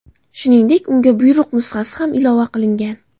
Shuningdek, unga buyruq nusxasi ham ilova qilingan.